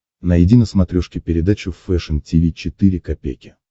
найди на смотрешке передачу фэшн ти ви четыре ка